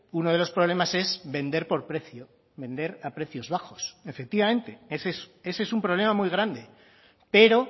uno de los problemas es vender por precio vender a precios bajos efectivamente ese es un problema muy grande pero